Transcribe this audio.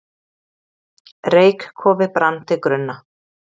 Reykkofi brann til grunna